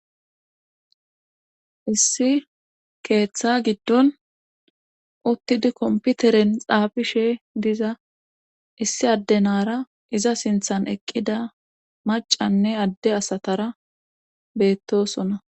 issi keeththa giddon uttidi komputeren xaabishe diza issi addenara iza sinthan eqqida macanne adde asatara beettosona